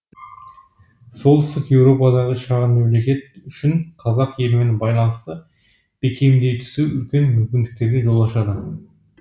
солтүстік еуропадағы шағын мемлекет үшін қазақ елімен байланысты бекемдей түсу үлкен мүмкіндіктерге жол ашады